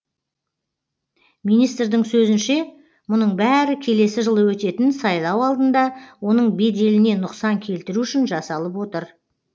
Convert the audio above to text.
министрдің сөзінше мұның бәрі келесі жылы өтетін сайлау алдында оның беделіне нұқсан келтіру үшін жасалып отыр